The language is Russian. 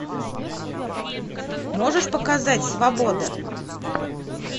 можешь показать свобода